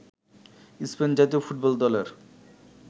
Spain জাতীয় football দলের